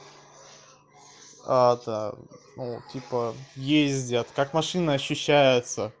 а это ну типа ездят как машина ощущается